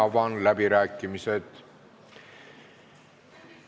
Avan läbirääkimised.